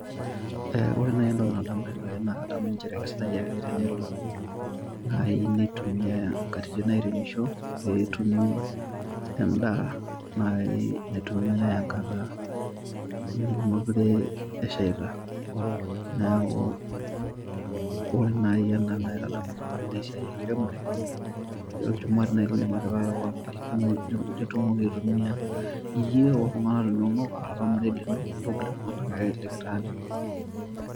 Ore naaji entoki najo naa keisidai ake tenelo neitumiyai nkatitin airemisho pee etumi naaji endaa naitumiyai enkata nemeekure eshaita neeku ore naaji naitadamu nanu esia enkiremore naa olchumati naaji lindim atipikaki kewon naaji tenkata nitumoki aitumiya niret iltungana linono okulie ake likitaanikik.